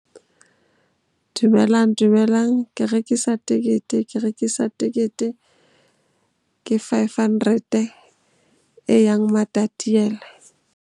Dumelang, dumelang. Ke rekisa tekete, ke rekisa tekete. Ke five hundred e yang Matatiele.